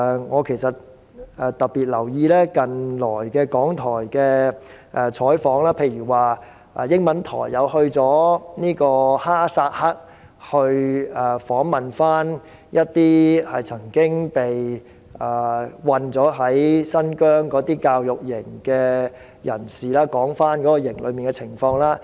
我特別留意港台近期的採訪，例如英文台便有記者前往哈薩克，訪問一些曾經被困新疆教育營的人，談談營內的情況。